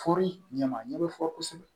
Fori ɲɛma ɲɛ bɛ fɔ kosɛbɛ